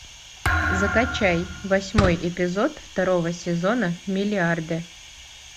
закачай восьмой эпизод второго сезона миллиарды